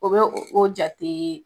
O bɛ o jate